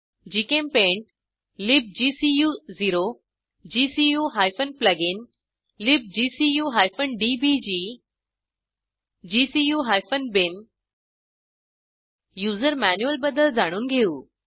GChemPaint लिब्गकू0 gcu plugin libgcu DBG gcu bin user manual बद्दल जाणून घेऊ